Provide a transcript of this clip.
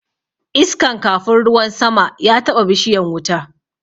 Iskan kafun ruwan sama ya taɓa bishiyan wuta